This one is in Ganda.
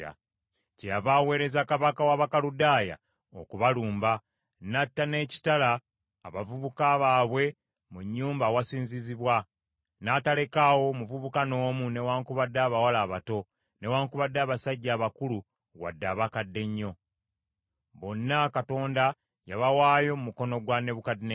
Kyeyava aweereza kabaka w’Abakaludaaya okubalumba, n’atta n’ekitala abavubuka baabwe mu nnyumba awasinzizibwa, n’atalekaawo muvubuka n’omu newaakubadde abawala abato, newaakubadde abasajja abakulu wadde abakadde ennyo. Bonna Katonda yabawaayo mu mukono gwa Nebukadduneeza.